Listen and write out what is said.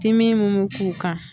Dimi mun mi k'u kan